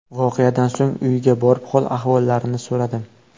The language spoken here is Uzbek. Voqeadan so‘ng uyga borib hol-ahvollarini so‘radim.